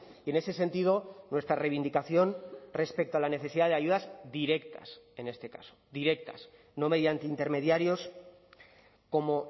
y en ese sentido nuestra reivindicación respecto a la necesidad de ayudas directas en este caso directas no mediante intermediarios como